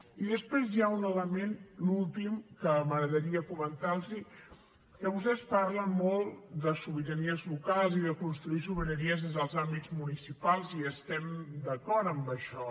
i després hi ha un element l’últim que m’agradaria comentar los que vostès parlen molt de sobiranies locals i de construir sobiranies des dels àmbits municipals i estem d’acord en això